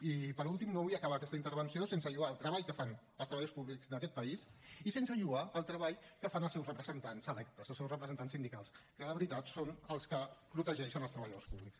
i per últim no vull acabar aquesta intervenció sense lloar el treball que fan els treballadors públics d’aquest país i sense lloar el treball que fan els seus representants electes els seus representants sindicals que de veritat són els que protegeixen els treballadors públics